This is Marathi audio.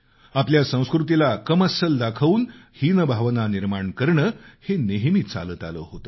आपल्या संस्कृतीला कमी लेखुन हीनभावना निर्माण करणं हे नेहमी चालत आलं होतं